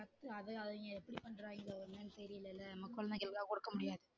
First உ அது அவிங்க எப்புடி பண்றாய்ங்கலோன்னு என்னான்னு தெரிலல நம்ம கொழந்தைக்கு குடுக்க முடியாது